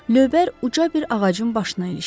Lövbər uca bir ağacın başına ilişdi.